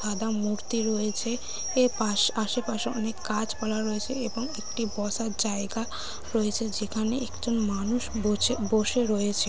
সাদা মূর্তি রয়েছে এর পাশ আসে পাশে অনেক গাছ পালা রয়েছে এবং একটি বসার জায়গা রয়েছে যেখানে একজন মানুষ বছে বসে রয়েছে।